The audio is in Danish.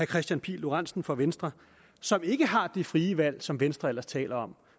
kristian pihl lorentzen fra venstre som ikke har det frie valg som venstre ellers taler om